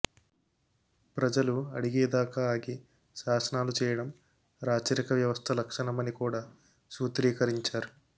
ప్రజలు అడిగే దాకా ఆగి శాసనాలు చేయడం రాచరిక వ్యవస్థ లక్షణం అని కూడా సూత్రీకరించారు